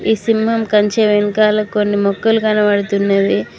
ఈ సింహం కంచె వెనుకాల కొన్ని మొక్కలు కనబడుతున్నవి.